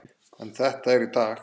En þetta er í dag.